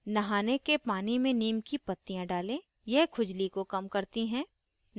नहाने के पानी में neem की पत्तियां डालें यह खुजली को कम करती हैं